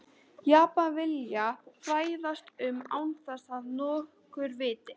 Japan vilja fræðast um án þess að nokkur viti.